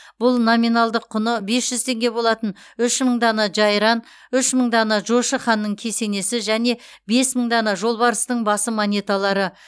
бұл номиналдық құны бес жүз теңге болатын үш мың дана жайран үш мың дана жошы ханның кесенесі және бес мың дана жолбарыстың басы монеталары